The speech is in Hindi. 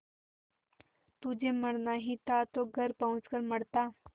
तुझे मरना ही था तो घर पहुँच कर मरता